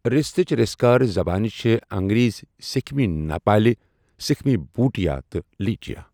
رِیستچہِ رسكٲرِ زبانہٕ چھے٘ انگریزی ،سِكھِمی نیپٲلہِ ، سِكھمی بھوُٹِیا تہٕ لیپچا۔